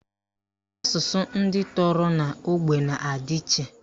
Asụsụ ndị toro n'ime ógbè na-adị iche